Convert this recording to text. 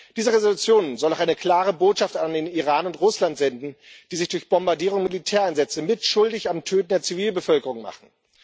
Diese Resolution soll auch eine klare Botschaft an den Iran und Russland senden, die sich durch Bombardierungen und Militäreinsätze mitschuldig am Töten der Zivilbevölkerung machen.